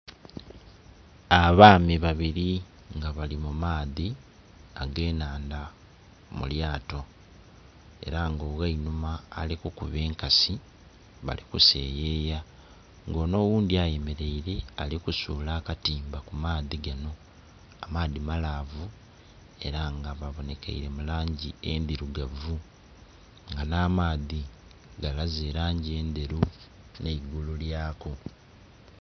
Abaami babiri nga bali mu maadhi age enhanadha mu lyato era nga oghe einhuma ali kukuba enkasi bali kuseyeya nga onho ogundhi ayemereire ali kusula akatimba ku maadhi ganho. Amaadhi malaavu era nga ba bonhekeire mu langi endhirugavu nga nha maadhi galaze elangi endheru nhe eigulu lyaku.